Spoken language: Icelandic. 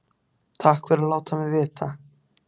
Takk fyrir að láta mig vita